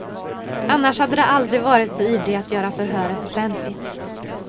Annars hade de aldrig varit så ivriga att göra förhöret offentligt.